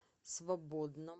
свободном